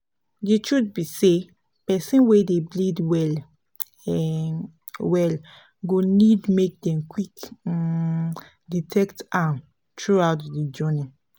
the truth be say persin wey dey bleed well um well go need make dem qik um detect am throughout the journey